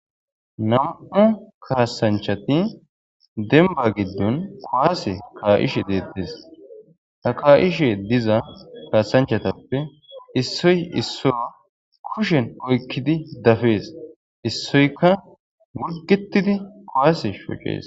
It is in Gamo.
Nam'u kaasanchati demba giddon kuwaase kaa'ishe deettes. Ta kaa'ishe diza kaasanchatuppe issoy issoyo kushen oykkidi dafees. Issoyka wulgetidi kuwaase shocees.